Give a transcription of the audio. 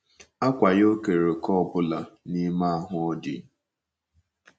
Àkwá ya ò keere òkè ọ bụla n’ime ahụ ọ dị?